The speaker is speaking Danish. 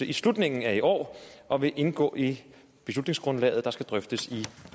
i slutningen af i år og vil indgå i beslutningsgrundlaget der skal drøftes i